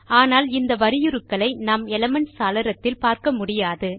ஆனால் இந்த வரியுருக்களை நாம் எலிமென்ட்ஸ் சாளரத்தில் பார்க்க முடியாது